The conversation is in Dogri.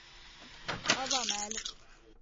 हवा मैह्‌ल